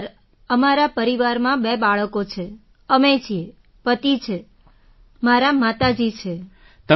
sir અમારા પરિવારમાં બે બાળકો છે અમે છીએ પતિ છે માતાજી છે મારાં